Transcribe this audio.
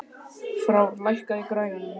Frár, lækkaðu í græjunum.